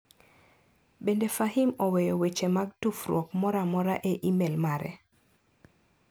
Bende Fahim oweyo weche mag tufruok moro amora e imel mare?